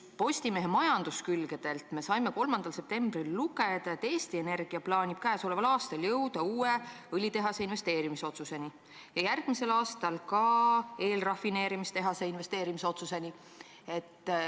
Postimehe majanduskülgedelt me saime 3. septembril lugeda, et Eesti Energia plaanib käesoleval aastal jõuda uude õlitehasesse investeerimise otsuseni ja järgmisel aastal ka eelrafineerimistehasesse investeerimise otsuseni.